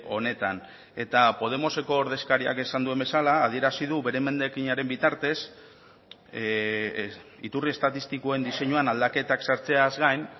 honetan eta podemoseko ordezkariak esan duen bezala adierazi du bere emendakinaren bitartez iturri estatistikoen diseinuan aldaketak sartzeaz gain